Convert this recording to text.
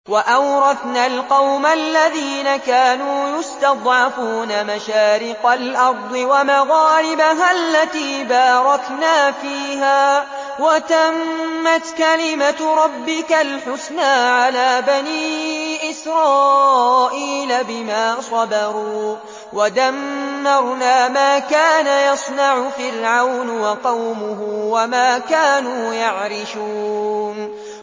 وَأَوْرَثْنَا الْقَوْمَ الَّذِينَ كَانُوا يُسْتَضْعَفُونَ مَشَارِقَ الْأَرْضِ وَمَغَارِبَهَا الَّتِي بَارَكْنَا فِيهَا ۖ وَتَمَّتْ كَلِمَتُ رَبِّكَ الْحُسْنَىٰ عَلَىٰ بَنِي إِسْرَائِيلَ بِمَا صَبَرُوا ۖ وَدَمَّرْنَا مَا كَانَ يَصْنَعُ فِرْعَوْنُ وَقَوْمُهُ وَمَا كَانُوا يَعْرِشُونَ